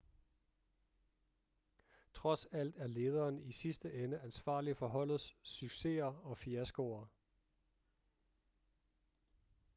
trods alt er lederen i sidste ende ansvarlig for holdets succeser og fiaskoer